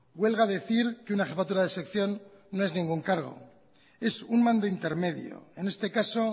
huelga decir que una jefatura de sección no es ningún cargo es un mando intermedio en este caso